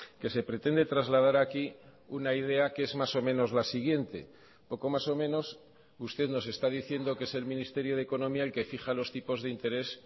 que se pretende trasladar aquí una idea que es más o menos la siguiente poco más o menos usted nos está diciendo que es el ministerio de economía el que fija los tipos de interés